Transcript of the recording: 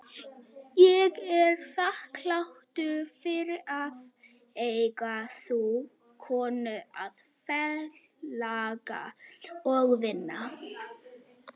Ég er þakklátur fyrir að eiga þá konu að félaga og vini.